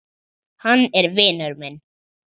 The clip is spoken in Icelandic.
Hann er vinur minn.